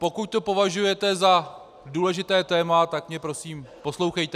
Pokud to považujete za důležité téma, tak mě prosím poslouchejte!